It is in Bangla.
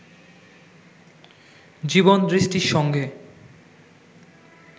জীবনদৃষ্টির সঙ্গে